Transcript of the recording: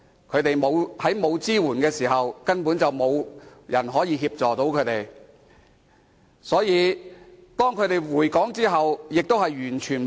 在缺乏支援的情況下，根本沒有人協助他們，所以，當他們回港後，亦求助無門。